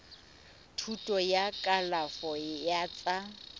thuto ya kalafo ya tsa